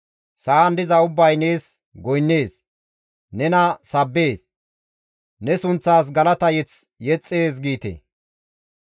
Sa7an diza ubbay nees goynnees; nena sabbees; ne sunththas galata mazamure yexxees» giite.